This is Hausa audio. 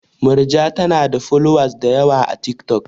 Murja tanada folowas dayawa a tik tok